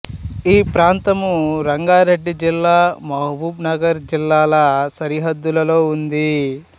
ఈ ప్రాంతము రంగారెడ్డి జిల్లా మహబూబ్ నగర్ జిల్లాల సరిహద్దులో ఉంది